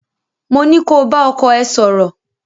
mó ní ko bá ọkọ ẹ sọ̀rọ̀!